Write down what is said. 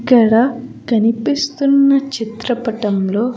ఇక్కడ కనిపిస్తున్న చిత్రపటంలో.